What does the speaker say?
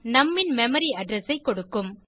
நும் ன் மெமரி ஏடிடிஆர் இஎஸ்எஸ் ஐ கொடுக்கும்